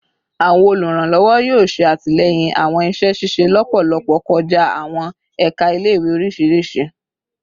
Awọn oluranlọwọ yoo ṣe atilẹyin awọn iṣẹ ṣiṣe lọpọlọpọ kọja awọn ẹka ile-iwe oriṣiriṣi